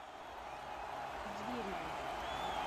звереву